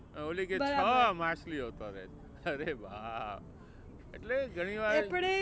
ઓલી કે છ માછલીઓ તરે છે અરે બાપ. એટલે ઘણી વાર